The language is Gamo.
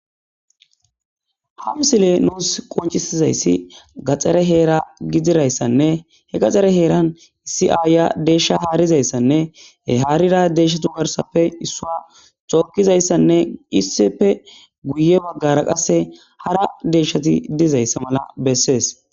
Ha misile nusi qonc,isidaysi gaxare hera gidizayisa nne he gaxare heran issi ayiya desha haridayisanne he harida deshatu garsappe isuwa tokizayisanne issippe guye bagara qasika hara deshati dizayisati